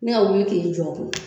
Ne ka wili ki jɔ o kun na.